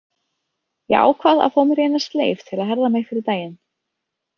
Ég ákvað að fá mér eina sleif til að herða mig fyrir daginn.